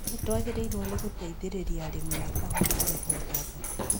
Nĩtwagĩrĩirwo nĩ gũteithĩrĩria arĩmi a kahũa harĩ gwetha thoko